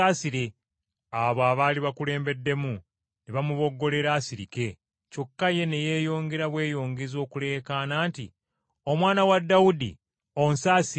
Abo abaali bakulembeddemu ne bamuboggolera asirike, kyokka ye ne yeeyongera bweyongezi okuleekaana nti, “Omwana wa Dawudi, onsaasire!”